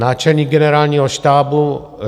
Náčelník Generálního štábu